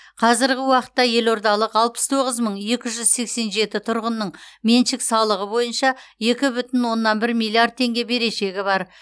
қазіргі уақытта елордалық алпыс тоғыз мың екі жүз сексен жеті тұрғынның меншік салығы бойынша екі бүтін оннан бір миллиард теңге берешегі бар